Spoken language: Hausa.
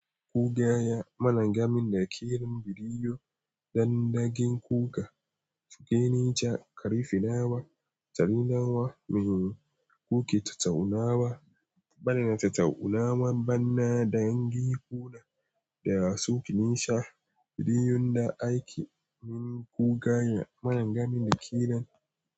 Ku gaya mana game da ƙirar biriwo don ɗagin kuka, fuge nisha, ƙarifi nawa, tari nawa, mihi, kuke tattaunawa. Bana tattaunawa bana da ɗan giko na da ya so ki nisha, biriyun da ake yi. Ku gaya mana game da ƙirar.